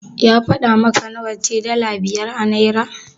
Ya faɗa maka nawa ce dala biyar a Naira?